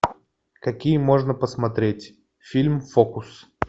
какие можно посмотреть фильм фокус